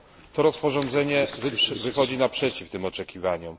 To rozporządzenie wychodzi naprzeciw tym oczekiwaniom.